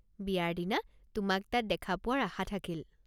বিয়াৰ দিনা তোমাক তাত দেখা পোৱাৰ আশা থাকিল!